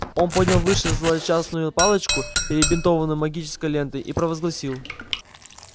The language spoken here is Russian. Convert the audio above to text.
он поднял повыше злосчастную палочку перебинтованную магической лентой и провозгласил